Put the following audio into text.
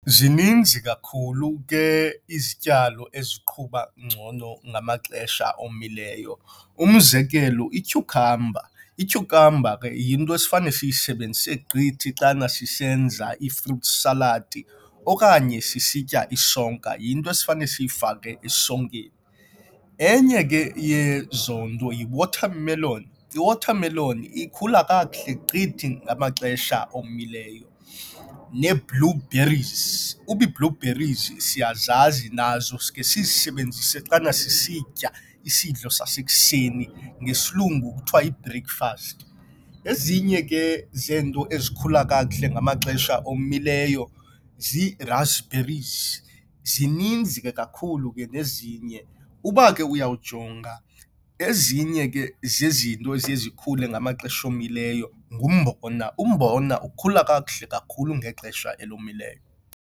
Zininzi kakhulu ke izityalo eziqhuba ngcono ngamaxesha omileyo. Umzekelo, ityukhamba ityukhamba ke yinto esifana siyisebenzise gqithi xana sisenza ii-fruit salad okanye sisitya isonka. Yinto esifana siyifake esonkeni. Enye ke yezonto yi-watermelon. I-watermelon ikhula kakuhle gqithi ngamaxesha omileyo, nee-blueberries. Uba blue berries siyazazi nazo sikhe sizisebenzise xana sisitya isidlo sasekuseni, ngesilungu kuthiwa yi-breakfast. Ezinye ke zeento ezikhula kakuhle ngamaxesha omileyo zii-raspberries. Zininzi ke kakhulu ke nezinye, uba ke uyawujonga ezinye ke zezinto eziye zikhule ngamaxesha omileyo ngumbona. Umbona ukukhula kakuhle kakhulu ngexesha elomileyo.